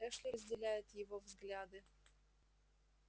эшли разделяет его взгляды